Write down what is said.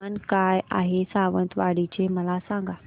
तापमान काय आहे सावंतवाडी चे मला सांगा